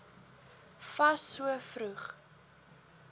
fas so vroeg